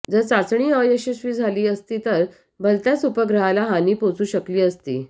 जर चाचणी अयशस्वी झाली असती तर भलत्याच उपग्रहाला हानी पोचू शकली असती